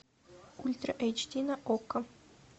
ультра эйч ди на окко